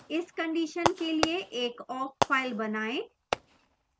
इस condition के लिए एक awk file बनाएं